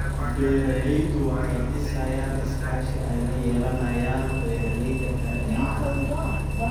Beeraleydu waxay dhisayaan iskaashi ay la yeelanayaan beeralayda kale ee caanaha.